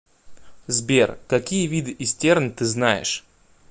сбер какие виды истерн ты знаешь